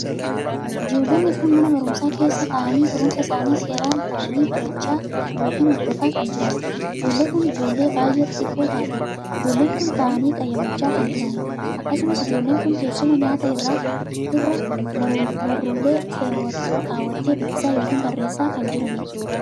Ijoollonni kun mana barumsaa keessa taa'anii barumsa isaanii seeraan taa'anii barachaa ykn Hordofaa kan jiraniidha. ijoollonni kun ijoollee baay'ee xixiqqoo taateedha. ijoolleen kun taa'anii qayyabachaa kan jiraniidha. akkasumas ijoolleen kun teessuma nyaata irra baruulee kaawwattee dubbisaa ykn barreessaa kan jiraniidha.